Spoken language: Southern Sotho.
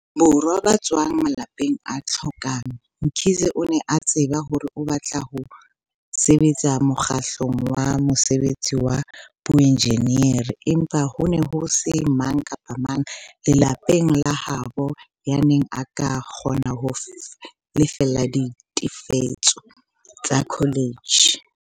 Borwa ba tswang malapeng a hlokang, Mkhize o ne a tseba hore o batla ho sebetsa mokgahlelong wa mosebetsi wa boenjenieri, empa ho ne ho se mang kapa mang lelapeng la habo yaneng a ka kgona ho lefella ditefiso tsa kholetjhe.